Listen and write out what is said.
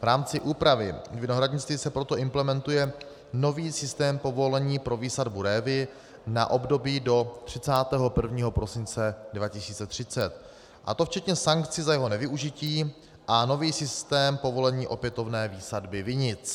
V rámci úpravy vinohradnictví se proto implementuje nový systém povolení pro výsadbu révy na období do 31. prosince 2030, a to včetně sankcí za jeho nevyužití, a nový systém povolení opětovné výsadby vinic.